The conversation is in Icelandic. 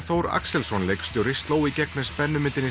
Þór Axelsson leikstjóri sló í gegn með